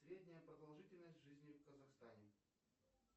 средняя продолжительность жизни в казахстане